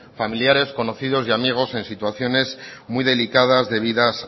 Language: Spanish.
familiares conocidos y amigos en situaciones muy delicadas debidas